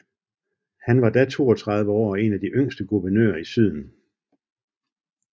Han var da 32 år og én af de yngste guvernører i syden